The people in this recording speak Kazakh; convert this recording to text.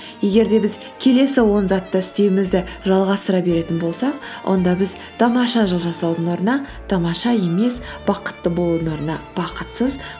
егер де біз келесі он затты істеуімізді жалғастыра беретін болсақ онда біз тамаша жыл жасаудың орнына тамаша емес бақытты болудың орнына бақытсыз